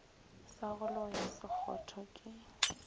sa go loya sekgotho ke